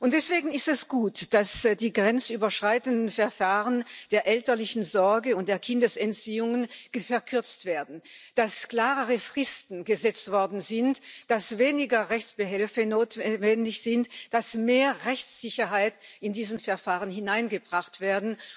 Deswegen ist es gut, dass die grenzüberschreitenden Verfahren zu der elterlichen Sorge und Kindesentziehungen verkürzt werden, dass klarere Fristen gesetzt worden sind, dass weniger Rechtsbehelfe notwendig sind, dass mehr Rechtssicherheit in diese Verfahren hineingebracht wird.